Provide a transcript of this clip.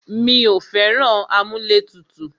Mí ò fẹ́ràn amúlẹ̀tutù.